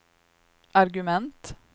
argument